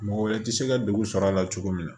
Mɔgɔ wɛrɛ tɛ se ka degun sɔrɔ a la cogo min na